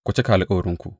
Ku cika alkawarinku!